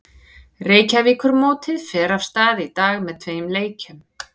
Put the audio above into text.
Reykjavíkurmótið fer af stað í dag með tveim leikjum.